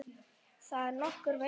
Þar er nokkur veiði.